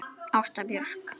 Ásta Björk.